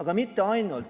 Ja mitte ainult.